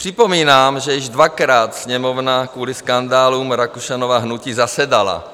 Připomínám, že již dvakrát Sněmovna kvůli skandálům Rakušanova hnutí zasedala.